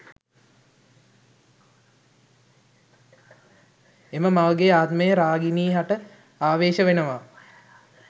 එම මවගේ ආත්මය රාගිනී හට ආවේශ වෙනවා